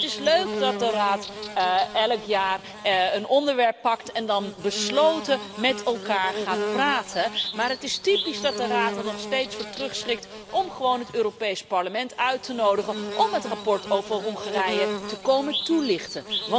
Het is leuk dat de Raad elk jaar een onderwerp pakt en dan besloten met elkaar gaat praten, maar het is typisch dat de Raad er nog steeds voor terugschrikt om gewoon het Europees Parlement uit te nodigen om het verslag over Hongarije te komen toelichten.